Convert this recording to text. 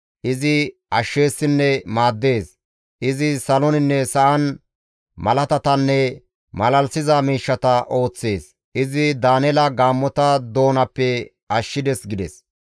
Izi ashsheessinne maaddees; Izi saloninne sa7an malaatatanne malalisiza miishshata ooththees; izi Daaneela gaammota doonappe ashshides» gides.